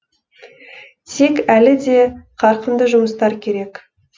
тек әлі де қарқынды жұмыстар керек